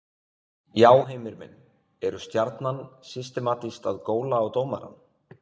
Já Heimir minn, eru Stjarnan systematískt að góla á dómarann?